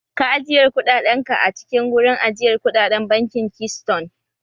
Ka ajiyar kuɗaɗen ka a cikin wurin ajiyar kuɗaɗen bankin Keystone!